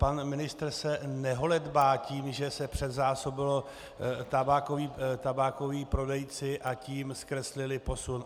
Pan ministr se neholedbá tím, že se předzásobili tabákoví prodejci a tím zkreslili posun.